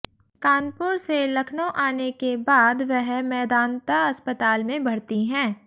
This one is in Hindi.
कानपुर से लखनऊ आने के बाद वह मेदांता अस्पताल में भर्ती हैं